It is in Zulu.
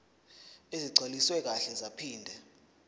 ezigcwaliswe kahle zaphinde